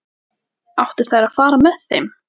Áttu þær að fara með þeim?